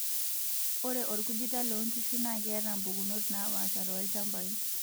Ore orkujita loonkishu na keata mpukunot naapasha tolchampai.